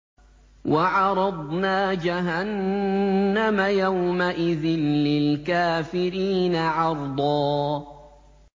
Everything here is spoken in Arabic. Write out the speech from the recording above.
وَعَرَضْنَا جَهَنَّمَ يَوْمَئِذٍ لِّلْكَافِرِينَ عَرْضًا